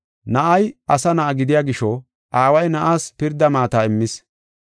Na7ay Asa Na7a gidiya gisho Aaway Na7aas pirda maata immis.